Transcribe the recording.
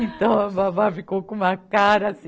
Então, a babá ficou com uma cara assim.